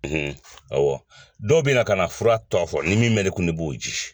awɔ dɔw bɛ na ka na fura tɔgɔ fɔ ni min bɛ ne kun, ne b'o di.